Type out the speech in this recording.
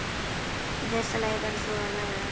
Í fyrsta lagi verður þú að læðast.